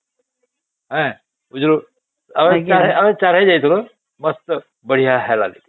ଆଂ ବୁଝିଲୁ ଆମେ ଚାରି ହିଁ ଯାଇଥିଲୁ must ବଢିଆ ହେଲା